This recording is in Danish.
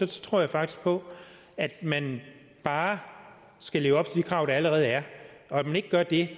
tror jeg faktisk på at man bare skal leve op til de krav der allerede er at man ikke gør det